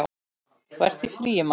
Þú ert í fríi, manstu?